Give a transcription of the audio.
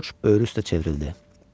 Coç böyür üstə çevrildi.